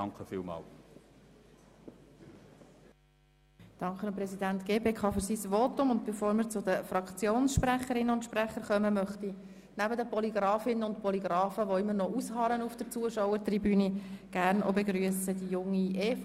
Bevor wir zu den Fraktionssprecherinnen und sprechern kommen, begrüsse ich neben den Polygrafinnen und Polygrafen, die auf der Zuschauertribüne immer noch ausharren, die Junge EVP.